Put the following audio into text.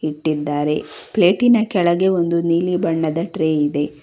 ಇಟ್ಟಿದ್ದಾರೆ ಪ್ಲೇಟಿನ ಕೆಳಗೆ ಒಂದು ನೀಲಿ ಬಣ್ಣದ ಟ್ರೇ ಇದೆ.